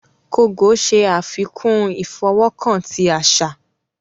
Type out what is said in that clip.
Kogò ṣe afikun ifọwọkan ti aṣa.